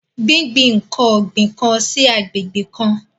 Gbingbin nkan o gbin kan sí agbègbè kan.